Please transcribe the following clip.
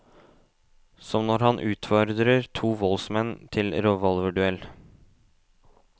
Som når han utfordrer to voldsmenn til revolverduell.